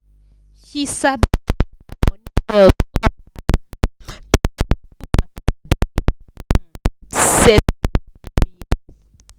she sabi plan her money well so her um pikin school matter dey um settled every year